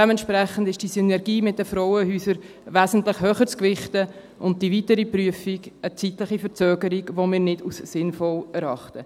Dementsprechend ist die Synergie mit den Frauenhäusern wesentlich höher zu gewichten und die weitere Prüfung eine zeitliche Verzögerung, die wir nicht als sinnvoll erachten.